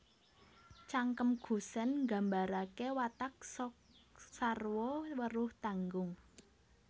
Cangkem Gusèn Nggambaraké watak sok sarwa weruh tanggung